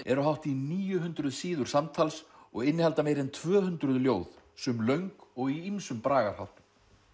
eru hátt í níu hundruð síður samtals og innihalda meira en tvö hundruð ljóð sum löng og í ýmsum bragarháttum